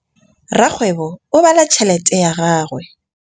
Rakgwêbô o bala tšheletê ya gagwe.